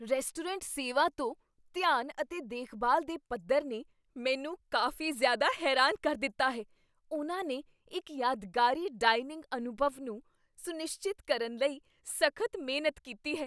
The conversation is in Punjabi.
ਰੈਸਟੋਰੈਂਟ ਸੇਵਾ ਤੋਂ ਧਿਆਨ ਅਤੇ ਦੇਖਭਾਲ ਦੇ ਪੱਧਰ ਨੇ ਮੈਨੂੰ ਕਾਫ਼ੀ ਜ਼ਿਆਦਾ ਹੈਰਾਨ ਕਰ ਦਿੱਤਾ ਹੈ, ਉਹਨਾਂ ਨੇ ਇੱਕ ਯਾਦਗਾਰੀ ਡਾਇਨਿੰਗ ਅਨੁਭਵ ਨੂੰ ਸੁਨਿਸ਼ਚਿਤ ਕਰਨ ਲਈ ਸਖਤ ਮਿਹਨਤ ਕੀਤੀ ਹੈ।